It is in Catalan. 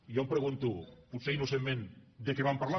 jo em pregunto potser innocentment de què van parlar